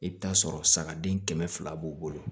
I bɛ t'a sɔrɔ sagaden kɛmɛ fila b'u bolo